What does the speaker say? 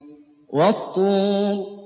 وَالطُّورِ